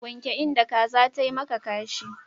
Wanke inda kaza tayi maka kashi.